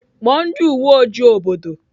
Kpọọ ndị uwe ojii obodo!